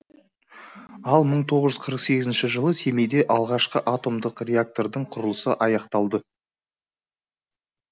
ал мың тоғыз жүз қырық сегізінші жылы семейде алғашқы атомдық реактордың құрылысы аяқталды